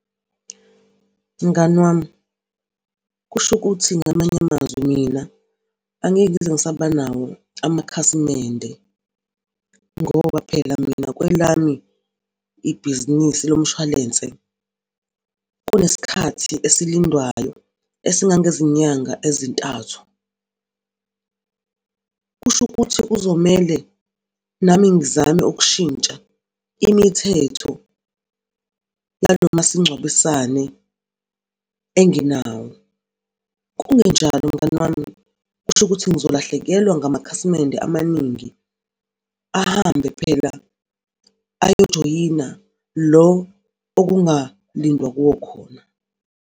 Mngani wami, kusho ukuthi ngamanye amazwi mina angeke ngize ngisaba nawo amakhasimende ngoba phela mina kwelami ibhizinisi lomshwalense kunesikhathi esilindwayo esingangezinyanga ezintathu. Kusho ukuthi kuzomele nami ngizame ukushintsha imithetho nalo masingcwabisane enginawo kungenjalo mngani wami, kusho ukuthi ngizolahlekelwa ngamakhasimende amaningi, ahambe phela ayo joyina lo okungalindwa kuwo khona.